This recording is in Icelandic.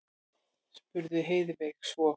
spurði Heiðveig svo.